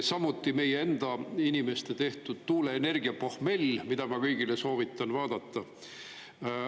Samuti meie enda inimeste tehtud "Tuuleenergia pohmell", mida ma kõigil soovitan vaadata.